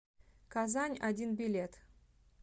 казань один билет